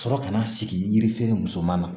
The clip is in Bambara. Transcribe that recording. Sɔrɔ ka na sigi yiri feere muso ma